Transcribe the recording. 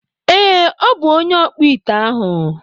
Ee, ọ bụ onye ọkpụite ahụ.